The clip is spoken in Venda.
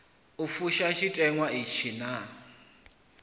u fusha tshiteṅwa itshi naa